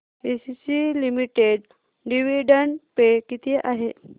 ACC limited dividend pay किती आहे